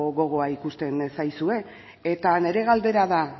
gogoa ikusten zaizue eta nire galdera da